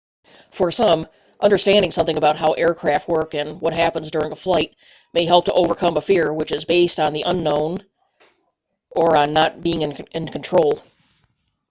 for some understanding something about how aircraft work and what happens during a flight may help to overcome a fear which is based on the unknown or on not being in control